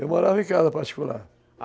Eu morava em casa particular.